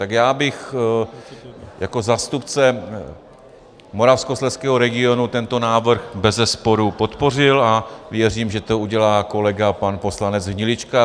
Tak já bych jako zástupce Moravskoslezského regionu tento návrh bezesporu podpořil a věřím, že to udělá kolega pan poslanec Hnilička.